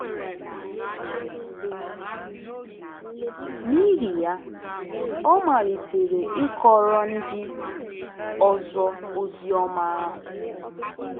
N’ihi ya, ọ malitere ịkọrọ ndị ọzọ ozi ọma ahụ.